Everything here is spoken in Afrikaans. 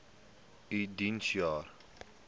u diens jare